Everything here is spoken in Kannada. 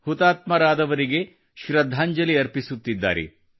ಹುತಾತ್ಮರಾದವರಿಗೆ ಶೃದ್ಧಾಂಜಲಿ ಅರ್ಪಪಿಸುತ್ತಿದ್ದಾರೆ